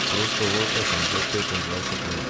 Prostovoljka sem že petindvajset let.